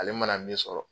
Ale mana min sɔrɔ